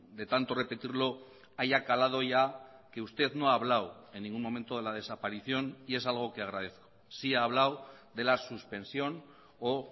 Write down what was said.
de tanto repetirlo haya calado ya que usted no ha hablado en ningún momento de la desaparición y es algo que agradezco sí ha hablado de la suspensión o